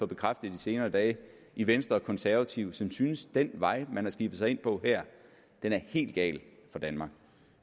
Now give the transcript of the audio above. bekræftet i de senere dage i venstre og konservative som synes at den vej man har skibet sig ind på her er helt gal for danmark